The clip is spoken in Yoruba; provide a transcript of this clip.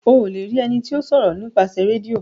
O le rí ení tíó ṣòro :nípasẹ Rédíò.